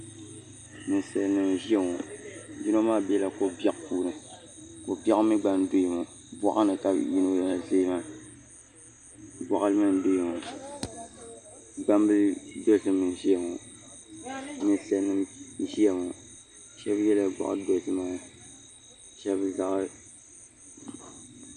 Ninsal nim n ʒiya ŋo yino maa biɛla ko biɛɣu puuni ko biɛɣu mii gba n doya ŋo boɣali ni ka yino ʒɛya maa boɣali n doya ŋo gbambili gba n ʒɛya ŋo ninsal nim n ʒiya ŋo shab yɛla goɣa dozima shab goɣa